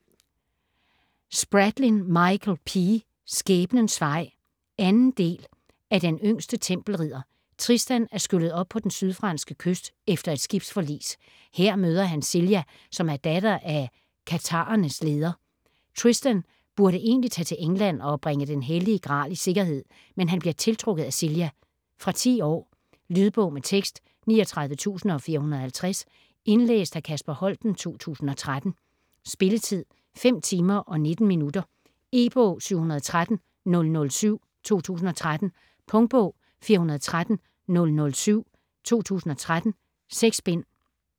Spradlin, Michael P.: Skæbnens vej 2. del af Den yngste tempelridder. Tristan er skyllet op på den sydfranske kyst efter et skibsforlis. Her møder han Celia, som er datter af en af katharernes ledere. Tristan burde egentlig tage til England og bringe Den hellige Gral i sikkerhed, men han bliver tiltrukket af Celia. Fra 10 år. Lydbog med tekst 39450 Indlæst af Kasper Holten, 2013. Spilletid: 5 timer, 19 minutter. E-bog 713007 2013. Punktbog 413007 2013. 6 bind.